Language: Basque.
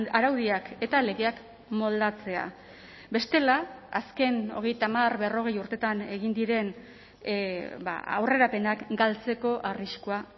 araudiak eta legeak moldatzea bestela azken hogeita hamar berrogei urteetan egin diren aurrerapenak galtzeko arriskua